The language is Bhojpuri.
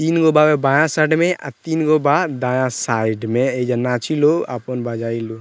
तीनगो बा बायां साइड में आ तीनगो बा दायां साइड में एइजा नाची लो आपन बजाइ लो।